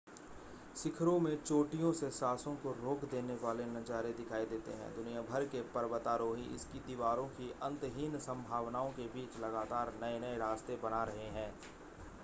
शिखरों में चोटियों से सांसों को रोक देने वाले नज़ारे दिखाई देते हैं दुनिया भर के पर्वतारोही इसकी दीवारों की अंतहीन संभावनाओं के बीच लगातार नए-नए रास्ते बना रहे हैं